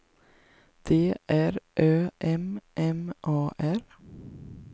D R Ö M M A R